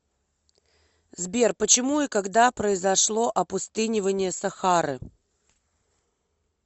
сбер почему и когда произошло опустынивание сахары